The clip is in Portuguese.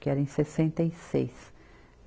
Que era em sessenta e seis.